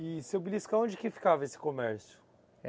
E seu Bilisco, aonde que ficava esse comércio?